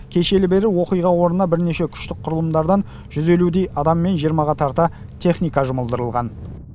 кешелі бері оқиға орнына бірнеше күштік құрылымдардан жүз елудей адам мен жиырмаға тарта техника жұмылдырылған